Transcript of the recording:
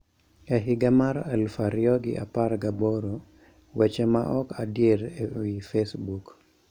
E higa mar eluf ariyo gi apar ga boro, weche ma ok adier e wi Facebook